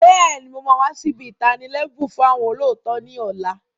Bẹ́ẹ̀ni, mo máa wà sì ibi itani lẹbun fún àwọn olóòótọ́ ni ọ̀la.